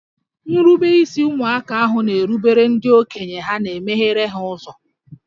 Nrubeisi ụmụaka ahụ na-erubere ndị okenye ha megheere ha ụzọ